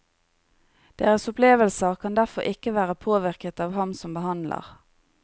Deres opplevelser kan derfor ikke være påvirket av ham som behandler.